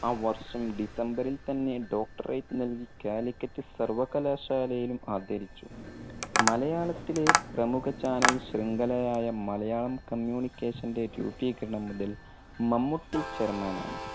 ആ വർഷം December ൽ തന്നെ doctorate നൽകി Calicut സർവകലാശാലയിലും ആദരിച്ചു. മലയാളത്തിലെ പ്രമുഖ channel ശൃംഖല ആയ മലയാളം communication ന്റെ രൂപീകരണം മുതൽ മമ്മൂട്ടി chairman ആണ്.